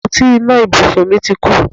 Àpótí iná ibùsùn mi ti kú